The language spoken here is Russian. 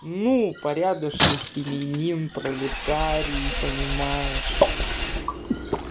ну порядочный семьянин пролетарий понимаешь